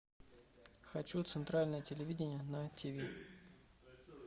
хочу центральное телевидение на тиви